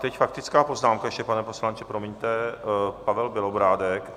Teď faktická poznámka ještě, pane poslanče, promiňte, Pavel Bělobrádek.